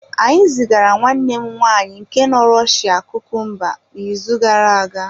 Anyị zigara nwanne m nwaanyị nke nọ Rọshịa kukumba n’izu gara aga.